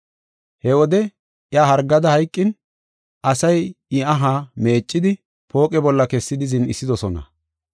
He wode iya hargada hayqin, asay I aha meeccidi, pooqe bolla kessidi zin7isidosona.